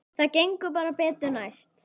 Það gengur bara betur næst.